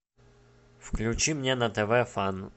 включи мне на тв фан